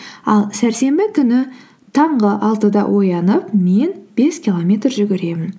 ал сәрсенбі күні таңғы алтыда оянып мен бес километр жүгіремін